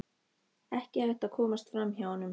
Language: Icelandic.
Ekki hægt að komast fram hjá honum.